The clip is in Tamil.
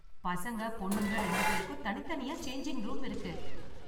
பசங்க பொண்ணுங்க ரெண்டு பேருக்கும் தனித்தனியா சேஞ்சிங் ரூம் இருக்கு.